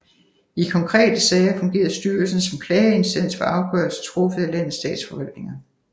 I konkrete sager fungerede styrelsen som klageinstans for afgørelser truffet af landets statsforvaltninger